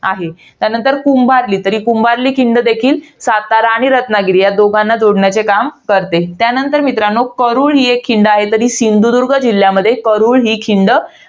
आहे. त्यानंतर कुंभार्ली. तर कुंभार्ली खिंड देखील, सातारा आणि रत्नागिरी या दोघांना जोडण्याचे काम करते. त्यांतर मित्रांनो, करूळ ही एक खिंड आहे. तर ही सिंधुदुर्ग जिल्ह्यामध्ये करूळ ही खिंड,